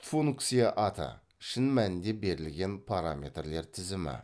функция аты шын мәнінде берілген параметрлер тізімі